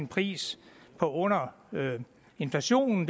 pris på under inflationen